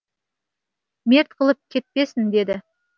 мерт қылып кетпесін деді